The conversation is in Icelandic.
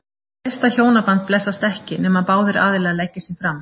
Þú veist að hjónaband blessast ekki, nema báðir aðilar leggi sig fram.